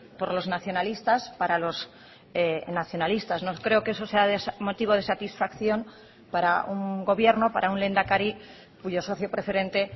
por los nacionalistas para los nacionalistas no creo que eso sea motivo de satisfacción para un gobierno para un lehendakari cuyo socio preferente